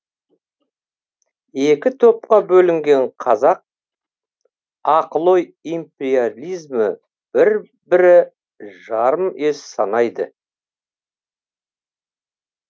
екі топқа бөлінген қазақ ақыл ой импеялизмі бір бірі жарым ес санайды